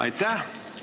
Aitäh!